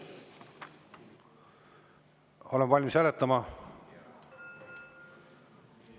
Oleme valmis hääletama?